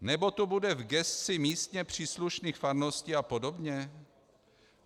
Nebo to bude v gesci místně příslušných farností a podobně?